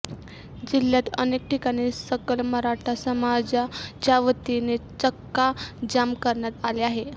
जिल्ह्यात अनेक ठिकाणी सकल मराठा समाजाच्यावतीने चक्काजाम करण्यात आले आहे